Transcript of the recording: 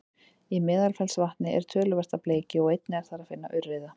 í meðalfellsvatni er töluvert af bleikju og einnig er þar að finna urriða